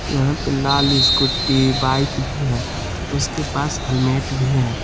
यहां पे लाल स्कूटी बाइक भी है उसके पास हेलमेट भी है।